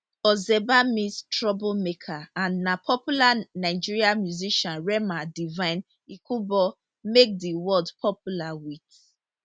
ozeba mean trouble maker and na popular nigerian musician rema divine ikubor make di word popular wit